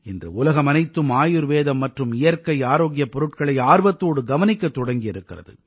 இன்று உலகமனைத்தும் ஆயுர்வேதம் மற்றும் இயற்கை ஆரோக்கியப் பொருட்களை ஆர்வத்தோடு கவனிக்கத் தொடங்கி இருக்கிறது